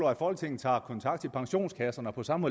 at folketinget tager kontakt til pensionskasserne og på samme